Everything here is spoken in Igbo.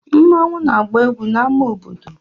Nmanwu na-agba egwu na ama obodo.